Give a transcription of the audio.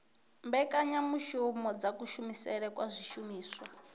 mbekanyamushumo dza kushumisele kwa zwishumiswa